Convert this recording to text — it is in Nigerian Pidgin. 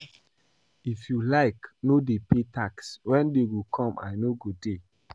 If you like no dey pay tax when dey go come I no go dey